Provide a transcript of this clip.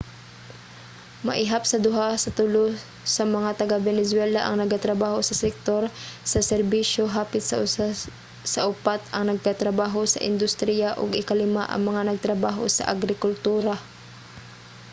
maihap sa duha sa tulo sa mga taga-venezuela ang nagatrabaho sa sektor sa serbisyo hapit sa usa sa upat ang nagatrabaho sa industriya ug ikalima ang mga nagtrabaho sa agrikultura